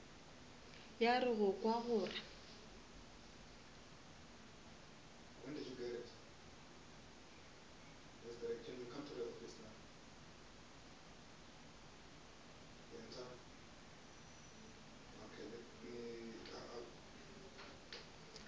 ya re go kwa gore